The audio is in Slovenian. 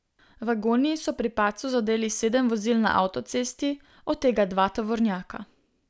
Vagoni so pri padcu zadeli sedem vozil na avtocesti, od tega dva tovornjaka.